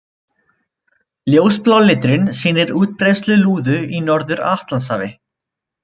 Ljósblái liturinn sýnir útbreiðslu lúðu í Norður-Atlantshafi.